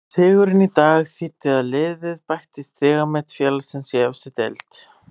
Sigurinn í dag þýddi að liðið bætti stigamet félagsins í efstu deild.